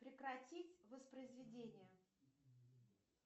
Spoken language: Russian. прекратить воспроизведение